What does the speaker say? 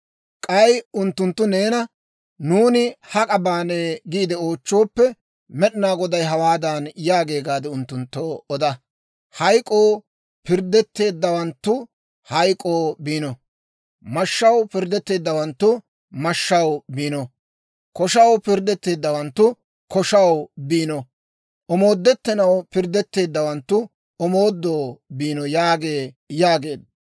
K'ay unttunttu neena, ‹Nuuni hak'a baanee?› giide oochchooppe, Med'inaa Goday hawaadan yaagee gaade unttunttoo oda; ‹Hayk'k'oo pirddetteeddawanttu, hayk'k'oo biino. Mashshaw pirddetteeddawanttu, mashshaw biino. Koshaw pirddetteeddawanttu, koshaw biino. Omoodettanaw pirddetteeddawanttu, omoodoo biino› yaagee» yaageedda.